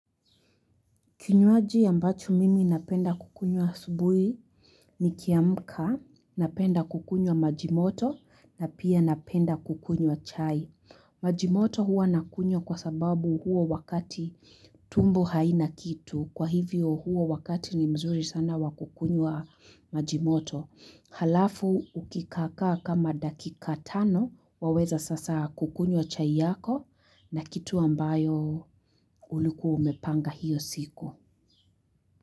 Kinywaji ambacho mimi napenda kukunywa asubuhi ni kiamka, napenda kukunywa majimoto na pia napenda kukunywa chai. Majimoto huwa nakunywa kwa sababu huo wakati tumbo haina kitu. Kwa hivyo huo wakati ni mzuri sana wakukunyua majimoto. Halafu ukikaakaa kama dakika tano waweza sasa kukunywa chai yako na kitu ambayo ulikuwa umepanga hiyo siku.